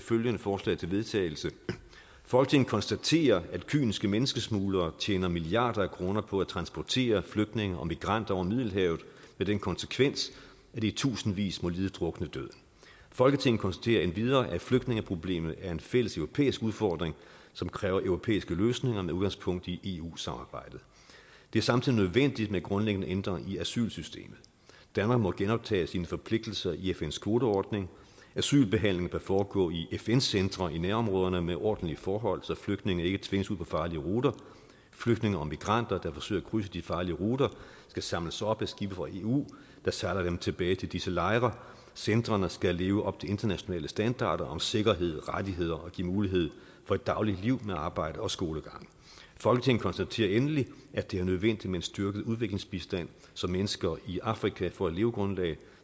følgende forslag til vedtagelse folketinget konstaterer at kyniske menneskesmuglere tjener milliarder af kroner på at transportere flygtninge og migranter over middelhavet med den konsekvens at i tusindvis må lide druknedøden folketinget konstaterer endvidere at flygtningeproblemet er en fælles europæisk udfordring som kræver europæiske løsninger med udgangspunkt i eu samarbejdet det er samtidig nødvendigt med grundlæggende ændringer i asylsystemet danmark må genoptage sine forpligtigelser i i fns kvoteordning asylbehandling bør foregå i fn centre i nærområderne med ordentlige forhold så flygtninge ikke tvinges ud på farlige ruter flygtninge og migranter der forsøger at krydse de farlige ruter skal samles op af skibe fra eu der sejler dem tilbage til disse lejre centrene skal leve op til internationale standarder om sikkerhed rettigheder og give mulighed for et dagligt liv med arbejde og skolegang folketinget konstaterer endelig at det er nødvendigt med en styrket udviklingsbistand så mennesker i afrika får et levegrundlag